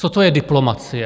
Co to je diplomacie?